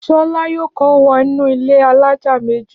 Ṣọlá yóò kó wọ inú ilé alájà méjì.